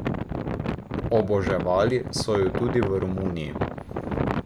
Oboževali so jo tudi v Romuniji.